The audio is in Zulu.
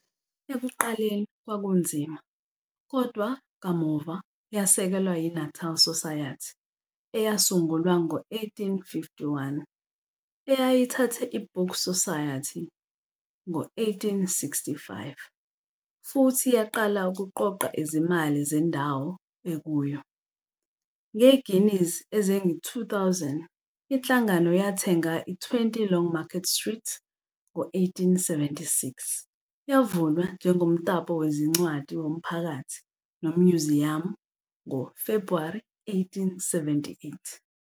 Ekuqaleni kwakunzima, kodwa kamuva yasekelwa yi-Natal Society, eyasungulwa ngo-1851, eyayithathe i-Book Society ngo-1865, futhi yaqala ukuqoqa izimali zendawo ekuyo. Nge-guineas ezingu-2,000, iNhlangano yathenga i-20 Longmarket Street ngo-1876, yavulwa njengomtapo wezincwadi womphakathi nomnyuziyamu ngoFebruary 1878.